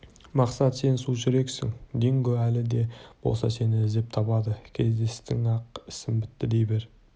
мақсат сен сужүрексің динго әлі де болса сені іздеп табады кездестің-ақ ісім бітті дей бер